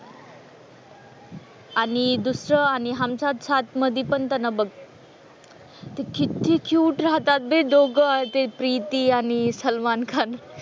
आणि दुसरं आणि हम साथ साथ मधे पण त्यांना बघ ते किती क्युट राहतात ते दोघं ते प्रीती आणि सलमान खान.